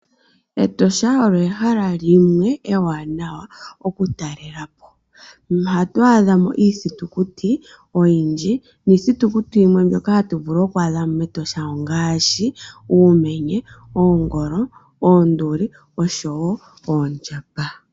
Etosha olyo ehala limwe ewanawa okutalelapo ohatu adhamo iithitukuti oyindji, niithitukuti yimwe mbyoka hatuvulu oku adhamo mEtosha ongaashi Uumenye, Oongolo, Oonduli oshowo Oondjamba.